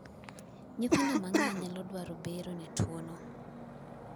nyithindo mang'eny nyalo dwaro bero ne tuo'no